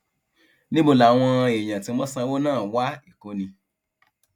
níbo làwọn èèyàn tí wọn sanwó náà wá èkó ni